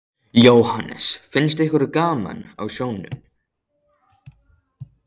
Jóhannes: Finnst ykkur gaman á sjónum?